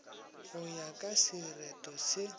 go ya ka sereto se